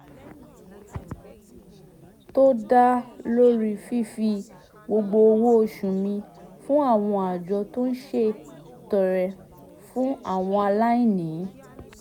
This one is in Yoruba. tó dá lórí fífi gbogbo owó oṣù mi fún àwọn àjọ tó ń ṣètọrẹ fún àwọn aláìní